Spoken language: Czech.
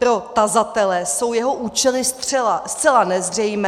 Pro tazatele jsou jeho účely zcela nezřejmé.